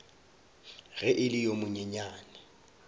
ge e le yo monyenyane